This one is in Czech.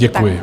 Děkuji.